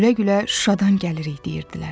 Gülə-gülə Şuşadan gəlirik deyirdilər.